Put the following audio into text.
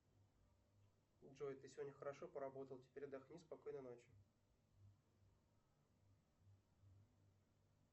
джой ты сегодня хорошо поработал теперь отдохни спокойной ночи